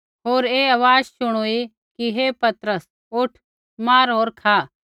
होर ऐ आवाज़ शुणुई कि हे पतरस उठ मार होर खा